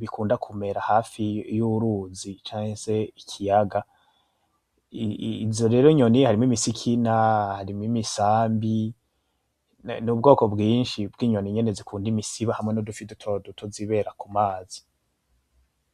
bikunda kumera hafi y’uruzi canke ikiyaga ,izo nyoni harimwo imisikina ,imisambi, n’ubwoko bwishi harimwo n’inyoni nyene zikunda imisiba hamwe n’udufi dutoduto zibera ku mazi.